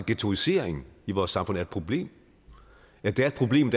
ghettoisering i vores samfund er et problem at det er et problem